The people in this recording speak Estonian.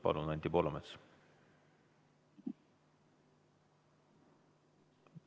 Palun, Anti Poolamets!